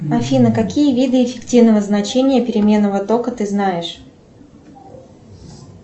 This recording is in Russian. афина какие виды эффективного значения переменного тока ты знаешь